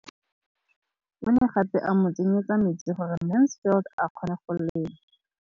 O ne gape a mo tsenyetsa metsi gore Mansfield a kgone go lema.